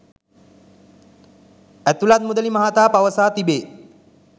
ඇතුලත් මුදලි මහතා පවසා තිබේ